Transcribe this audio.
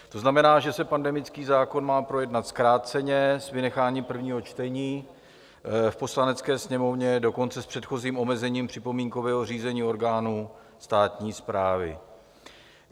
To znamená, že se pandemický zákon má projednat zkráceně s vynecháním prvního čtení v Poslanecké sněmovně, dokonce s předchozím omezením připomínkového řízení orgánů státní správy.